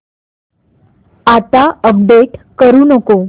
आता अपडेट करू नको